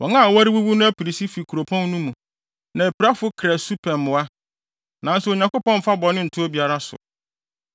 Wɔn a wɔrewuwu no apinisi fi kuropɔn no mu, na apirafo kra su pɛ mmoa. Nanso Onyankopɔn mfa bɔne nto obiara so.